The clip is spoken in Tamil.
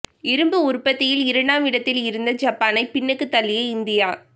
இரும்பு உற்பத்தியில் இரண்டாம் இடத்தில் இருந்த ஜப்பானை பின்னுக்குத் தள்ளிய இந்தியா